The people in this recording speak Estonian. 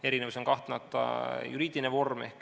Erinevus on kahtlemata juriidiline vorm.